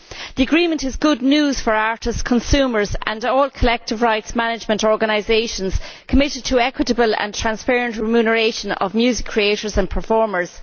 The agreement is good news for artists, consumers and all collective rights management organisations committed to equitable and transparent remuneration of music creators and performers.